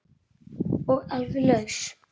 Og alveg laus.